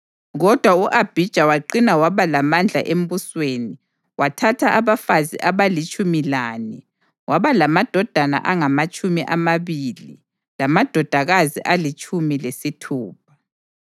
Kodwa u-Abhija waqina waba lamandla embusweni. Wathatha abafazi abalitshumi lane waba lamadodana angamatshumi amabili lamadodakazi alitshumi lesithupha.